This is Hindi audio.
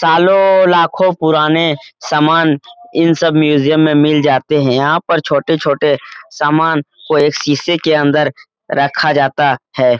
सालों-लाखों पुराने सामान इन सब म्यूजियम में मिल जाते है यहाँ पर छोटे-छोटे सामान को एक शीशे के अंदर रखा जाता है।